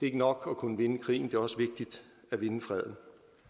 ikke nok at kunne vinde krigen det er også vigtigt at vinde freden